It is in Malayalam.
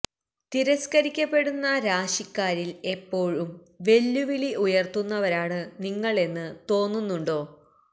തിരസ്കരിക്കപ്പെടുന്ന രാശിക്കാരില് എപ്പോഴും വെല്ലുവിളി ഉയര്ത്തുന്നവരാണ് നിങ്ങള് എന്ന് തോന്നുന്നുണ്ടോ